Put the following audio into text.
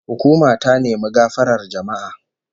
Hukuma ta nemi gafarar jama'a